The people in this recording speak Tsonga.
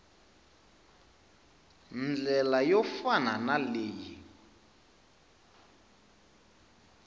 ndlela yo fana na leyi